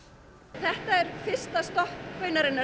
þetta er fyrsta stopp